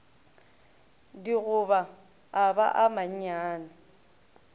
digoba a ba a mannyane